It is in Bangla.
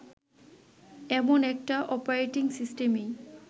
এমন একটা অপারেটিং সিস্টেমেই